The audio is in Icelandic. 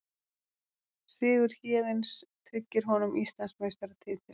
Sigur Héðins tryggir honum Íslandsmeistaratitilinn